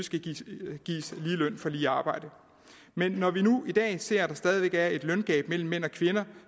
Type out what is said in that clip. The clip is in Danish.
skal gives lige løn for lige arbejde men når vi nu i dag ser at der stadig væk er et løngab mellem mænd og kvinder